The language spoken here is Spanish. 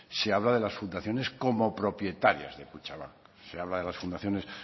se habla de las fundaciones como propietarias de kutxabank se habla de las fundaciones